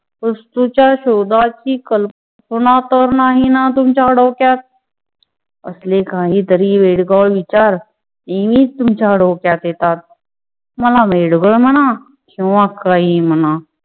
वस्तूच्या शोधाची कल्पना तर नाही ना तुमच्या डोक्यात? असले काहीतरी वेडगा विचार नेहमीच तुमच्या डोक्यात येतात. मला वेडगं म्हणा किंवा काही म्हणा